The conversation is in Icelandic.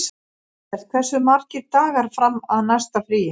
Ellert, hversu margir dagar fram að næsta fríi?